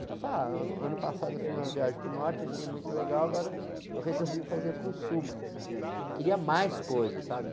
Eu falava, ano passado eu fiz uma viagem para o norte, achei muito legal, agora eu resolvi fazer para o sul, mas, mas queria mais coisas, sabe?